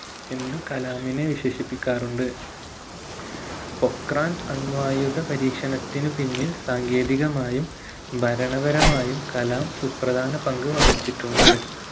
എന്ന് കലാമിനെ വിശേഷിപ്പിക്കാറുണ്ട് പൊഖ്‌റാൻ അണുവായുധ പരീക്ഷണത്തിനു പിന്നിൽ സാങ്കേതികമായും ഭരണപരമായും കലാം സുപ്രധാന പങ്ക് വഹിച്ചിട്ടുണ്ട്